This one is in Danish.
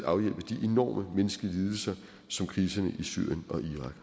afhjælpe de enorme menneskelige lidelser som kriserne i syrien